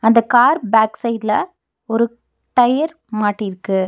அந்த car back சைடுல ஒரு டயர் மாட்டிற்கு.